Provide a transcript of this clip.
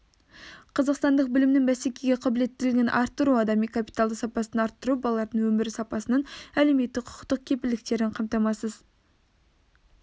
қазақстандық білімнің бәсекеге қабілеттілігін арттыру адами капиталдың сапасын арттыру балалардың өмір сапасының әлеуметтік құқықтық кепілдіктерін қамтамасыз